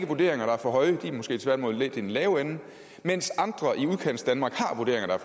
vurderinger der er for høje de er måske tværtimod lidt i den lave ende mens andre i udkantsdanmark har vurderinger der